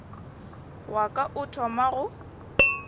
wa ka o thoma go